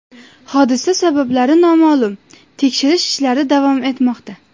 Hodisa sabablari noma’lum, tekshirish ishlari davom etmoqda.